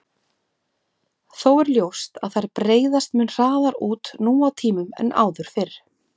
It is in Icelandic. Þó er ljóst að þær breiðast mun hraðar út nú á tímum en áður fyrr.